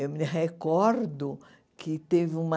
Eu me recordo que teve uma...